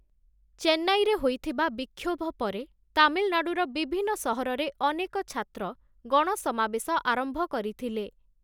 ଚେନ୍ନାଇରେ ହୋଇଥିବା ବିକ୍ଷୋଭ ପରେ, ତାମିଲନାଡ଼ୁର ବିଭିନ୍ନ ସହରରେ ଅନେକ ଛାତ୍ର ଗଣସମାବେଶ ଆରମ୍ଭ କରିଥିଲେ ।